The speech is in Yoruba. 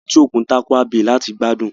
A lọ sí etí-òkun Tarkwa bay láti gbádùn